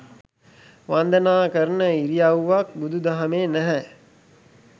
වන්දනා කරන ඉරියව්වක් බුදු දහමේ නැහැ